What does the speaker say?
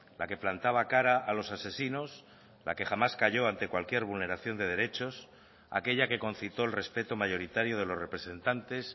la que plantaba cara a los asesinos la que jamás calló ante cualquier vulneración de derechos aquella que concitó el respeto mayoritario de los representantes